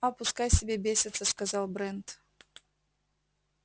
а пускай себе бесятся сказал брент